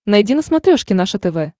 найди на смотрешке наше тв